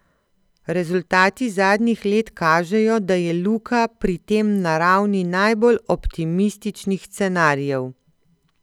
Rezultati zadnjih let kažejo, da je Luka pri tem na ravni najbolj optimističnih scenarijev.